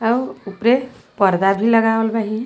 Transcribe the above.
अउर उपरे पर्दा भी लगावल बाहिन।